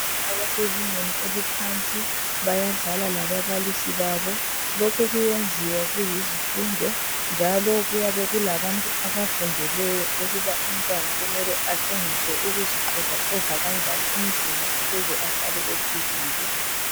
Abasezingeni eliphansi bayadlala lababalisi babo, lokhu kuyenziwa kuyisifundo njalo kuyabe kulabantu abafundileyo ukuba umntwana kumele atshengiswe ukuzixovaxova lanjani umzimba ukuze ahlale ephilile.